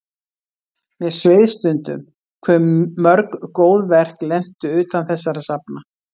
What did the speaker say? Mér sveið stundum hve mörg góð verk lentu utan þessara safna.